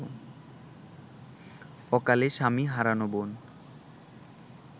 অকালে স্বামী হারানো বোন